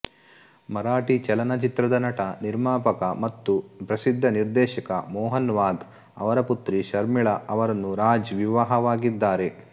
ಮರಾಠಿ ಚಲನಚಿತ್ರದ ನಟ ನಿರ್ಮಾಪಕ ಮತ್ತು ಪ್ರಸಿದ್ದ ನಿರ್ದೇಶಕ ಮೋಹನ್ ವಾಘ್ ಅವರ ಪುತ್ರಿ ಶರ್ಮಿಳಾ ಅವರನ್ನು ರಾಜ್ ವಿವಾಹವಾಗಿದ್ದಾರೆ